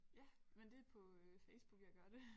Ja men det på øh Facebook jeg gør det